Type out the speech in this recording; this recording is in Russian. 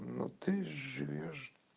ну ты живёшь